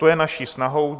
To je naší snahou.